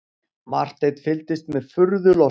Marteinn fylgdist með furðu lostinn.